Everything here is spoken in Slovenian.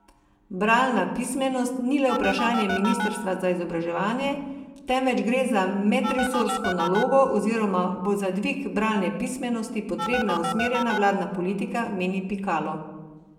Bralna pismenost ni le vprašanje ministrstva za izobraževanje, temveč gre za medresorsko nalogo oziroma bo za dvig bralne pismenosti potrebna usmerjena vladna politika, meni Pikalo.